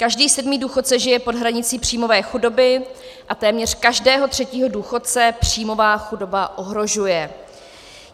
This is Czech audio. Každý sedmý důchodce žije pod hranicí příjmové chudoby a téměř každého třetího důchodce příjmová chudoba ohrožuje.